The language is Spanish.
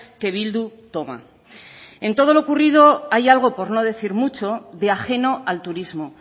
que bildu toma en todo lo ocurrido hay algo por no decir mucho de ajeno al turismo